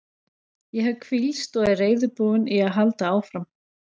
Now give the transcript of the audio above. Ég hef hvílst og er reiðubúinn í að halda áfram.